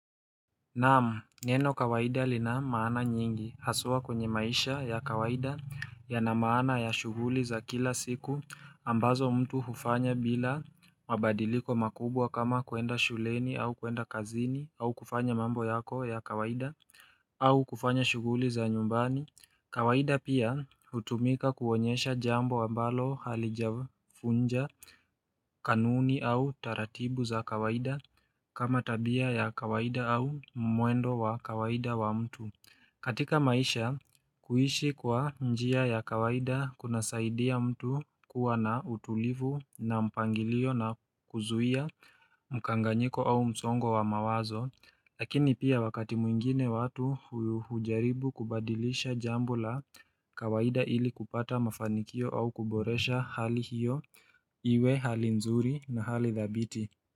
Naam, neno kawaida li lna maana nyingi haswa kwenye maisha ya kawaida yana maana ya shughuli za kila siku ambazo mtu hufanya bila mabadiliko makubwa kama kuenda shuleni au kuenda kazini au kufanya mambo yako ya kawaida au kufanya shuguli za nyumbani kawaida pia hutumika kuonyesha jambo ambalo halijafunja kanuni au taratibu za kawaida kama tabia ya kawaida au mwendo wa kawaida wa mtu. Katika maisha, kuishi kwa njia ya kawaida kunasaidia mtu kuwa na utulivu na mpangilio na kuzuia mkanganyiko au msongo wa mawazo Lakini pia wakati mwingine watu hujaribu kubadilisha jambo la kawaida ili kupata mafanikio au kuboresha hali hiyo iwe hali nzuri na hali dhabiti.